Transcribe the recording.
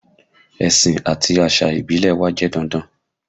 Ẹ̀sìn àti àṣà ìbílẹ̀ wa jẹ́ dandan